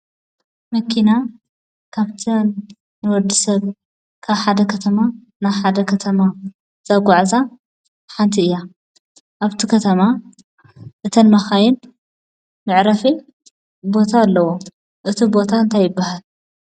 መኪና ካብተን ንወዲ ሰብ ካብ ሓደ ከተማ ናብ ሓደ ከተማ ዘጓዕዛ ሓንቲ እያ፡፡ ኣብቲ ከተማ እተን መኻይን መዕረፊ ቦታ ኣለዎ፡፡ እቲ ቦታ እንታይ ይባሃል?